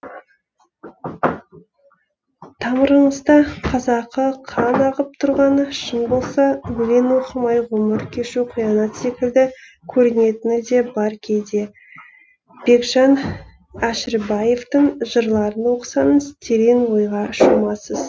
тамырыңызда қазақы қан ағып тұрғаны шын болса өлең оқымай ғұмыр кешу қиянат секілді көрінетіні де бар кейде бекжан әшірбаевтың жырларын оқысаңыз терең ойға шомасыз